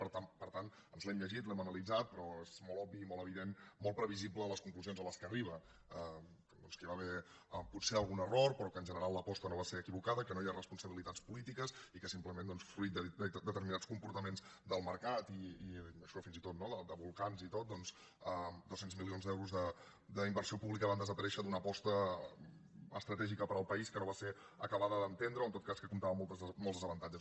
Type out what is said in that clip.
per tant ens l’hem llegit l’hem analitzat però són molt òbvies i molt evidents molt previsibles les conclusions a què arriba doncs que hi va haver potser algun error però que en general l’aposta no va ser equivocada que no hi ha responsabilitats polítiques i que simplement fruit de determinats comportaments del mercat i fins i tot no de volcans i tot dos cents milions d’euros d’inversió pública van desaparèixer d’una aposta estratègica per al país que no va ser acabada d’entendre o en tot cas que comptava amb molts desavantatges